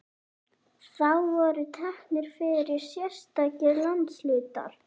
Þá voru teknir fyrir sérstakir landshlutar.